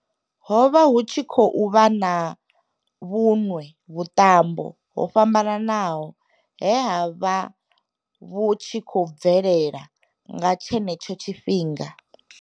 ho vha hu tshi khou vha na vhuṅwe vhuṱambo ho fhambanaho he ha vha vhu tshi khou bvelela nga tshenetsho tshifhinga.